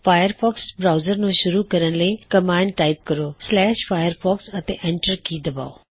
Firefox browser ਨੂੰ ਸ਼ੁਰੂ ਕਰਣ ਲਈ ਕਮਾਂਡ ਟਾਇਪ ਕਰੋ firefox ਅਤੇ ਐਂਟਰ ਕੀ ਦੱਬਾਓ